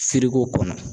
Feereko kɔnɔ